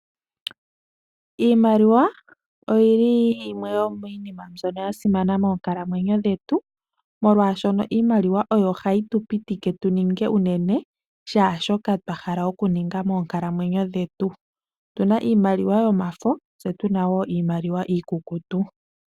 Iimaliwa oyili yimwe yomiinima mbyono yasimana moonkalamwenyo dhetu, molwashono iimaliwa oyo hayi tupitike tuninge unene shaashoka twahala okuninga moonkalamwenyo dhetu. Otuna iimaliwa yomafo tsetu nawo iimaliwa iikukutu.